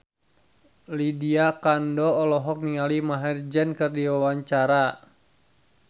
Lydia Kandou olohok ningali Maher Zein keur diwawancara